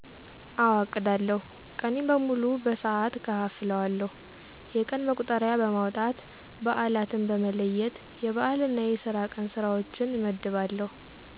አወ አቅዳለሁ። ቀኔን በሙሉ በሠዓት እከፋፍለዋለሁ። የቀን መቁጠሪያ በማውጣት በአላትን በመለየት የበአል እና የስራ ቀን ስራዎችን እመድባለሁ።